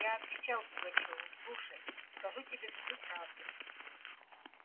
я отвечал пугачёву слушай скажу тебе всю правду